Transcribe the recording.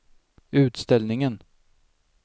utställningen